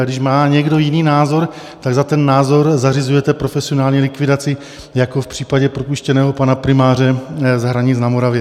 A když má někdo jiný názor, tak za ten názor zařizujete profesionálně likvidaci jako v případě propuštěného pana primáře z Hranic na Moravě.